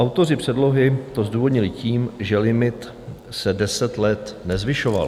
Autoři předlohy to zdůvodnili tím, že limit se deset let nezvyšoval.